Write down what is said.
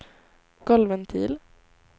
golvventil